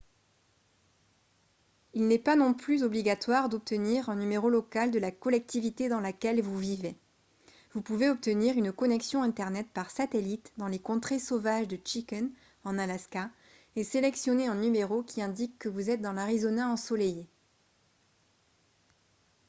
il n'est pas non plus obligatoire d'obtenir un numéro local de la collectivité dans laquelle vous vivez vous pouvez obtenir une connexion internet par satellite dans les contrées sauvages de chicken en alaska et sélectionner un numéro qui indique que vous êtes dans l'arizona ensoleillée